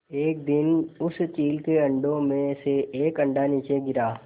एक दिन उस चील के अंडों में से एक अंडा नीचे गिरा